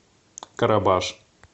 карабаш